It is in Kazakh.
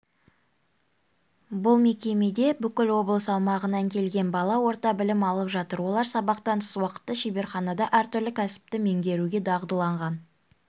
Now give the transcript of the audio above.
бұл мекемеде бүкіл облыс аумағынан келген бала орта білім алып жатыр олар сабақтан тыс уақытта шеберханада әртүрлі кәсіпті меңгеруге дағдыланған